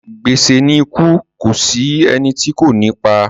Gbèsè ni ikú kò sí ẹni tí kò ní pa.